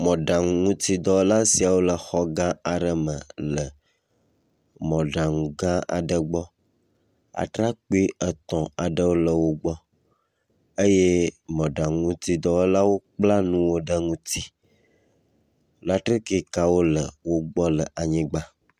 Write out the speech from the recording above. mɔɖaŋuŋutidɔwɔa siawo le xɔgã aɖe me le mɔɖaŋu gã aɖe gbɔ. Atrakpui etɔ̃ aɖewo le wo gbɔ eye mɔɖaŋuŋutidɔwɔlawo kpla ŋuw ɖe ŋuti. Latrikikawo le wo gbɔ le anygba.